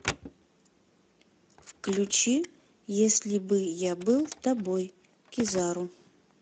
включи если бы я был тобой кизару